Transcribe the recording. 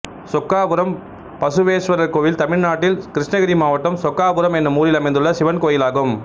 சொக்காபுரம் பசுவேஸ்வரர் கோயில் தமிழ்நாட்டில் கிருஷ்ணகிரி மாவட்டம் சொக்காபுரம் என்னும் ஊரில் அமைந்துள்ள சிவன் கோயிலாகும்